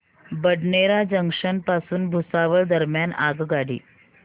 Badnera junction पासून भुसावळ दरम्यान आगगाडी